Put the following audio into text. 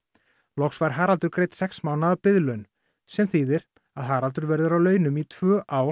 loks fær Haraldur greidd sex mánaða biðlaun sem þýðir að Haraldur verður á launum í tvö ár